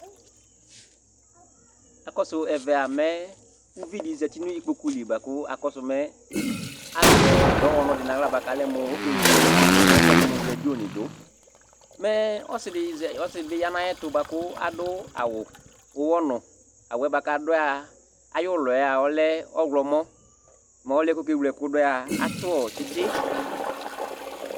Aƙɔsʊ ɛvɛ mɛ ʊʋɩɖɩ ɔzatɩ ŋɩƙpoƙʊ lɩ ɓʊa ƙʊ akɔsʊ mɛ azɛ ɖɔwɔnu ɖɩ ŋahla ƙalɛ mʊ okéwlé mu raɖio ŋɩ ɖʊ, mɛ ɔsɩ ɖɩ ƴa ŋaƴɛtu bʊa ƙaɖʊ awu ʊwɔ ŋʊ awu bʊa ƙaɖʊ ɔlɛ ʊwlɔ mɔ mɛ ɔliɛ ƙéwlé ɛƙʊ ɖʊ atʊ tsɩtsɩ